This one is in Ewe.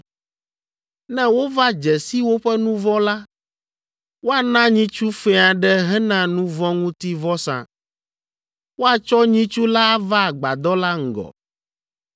Ne wova dze si woƒe nu vɔ̃ la, woana nyitsu fɛ̃ aɖe hena nu vɔ̃ ŋuti vɔsa. Woatsɔ nyitsu la ava Agbadɔ la ŋgɔ.